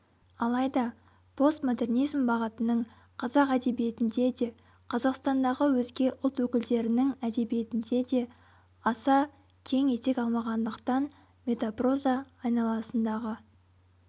алайда постмодернизм бағытының қазақ әдебиетінде де қазақстандағы өзге ұлт өкілдерінің әдебиетінде де аса кең етек алмағандықтан метапроза айналасындағы